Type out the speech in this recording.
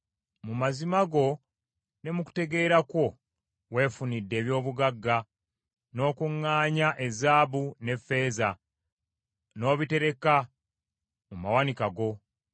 Mu magezi go ne mu kutegeera kwo weefunidde eby’obugagga, n’okuŋŋaanya ezaabu n’effeeza n’obitereka mu mawanika go.